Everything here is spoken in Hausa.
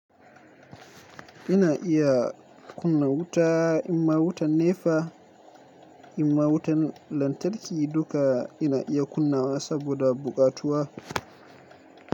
Ina iya kunna wuta, in ma wutan nefa, in ma wutan lantarki duka ina iya kunnawa saboda buƙatuwa.